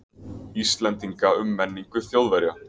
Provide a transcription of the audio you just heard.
Íslendinga um menningu Þjóðverja.